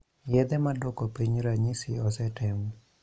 Yedhe maduoko piny ranyisi osetem